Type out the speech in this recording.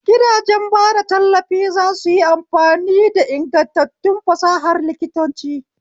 Gidajen bada tallafi za su yi amfani da ingantattun fasahar likitanci.